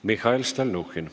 Mihhail Stalnuhhin.